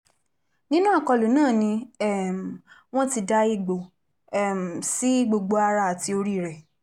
nínú àkọlù náà ni um wọ́n ti da ègbò um sí gbogbo ara àti orí rẹ̀